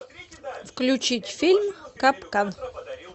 включить фильм капкан